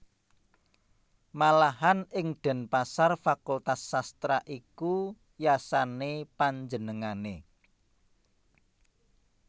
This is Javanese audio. Malahan ing Denpasar fakultas sastra iku yasané panjenengané